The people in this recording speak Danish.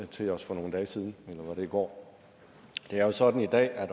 til os for nogle dage siden eller var det i går det er jo sådan i dag at